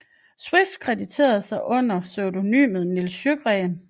Swift krediterede sig under pseudonymet Nils Sjöberg